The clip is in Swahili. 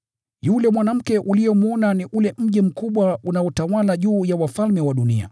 Yule mwanamke uliyemwona ni ule mji mkubwa unaotawala juu ya wafalme wa dunia.”